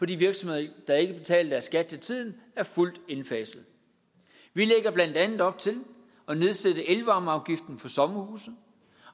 de virksomheder der ikke betaler deres skat til tiden er fuldt indfaset vi lægger blandt andet op til at nedsætte elvarmeafgiften for sommerhuse